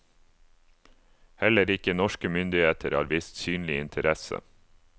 Heller ikke norske myndigheter har vist synlig interesse.